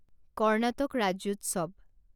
Karnataka ৰাজ্যোৎসৱ